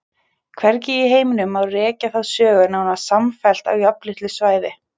Hvergi í heiminum má rekja þá sögu nánast samfellt á jafnlitlu svæði.